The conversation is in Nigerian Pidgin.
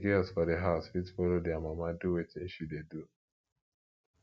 di girls for di house fit follow their mama do wetin she dey do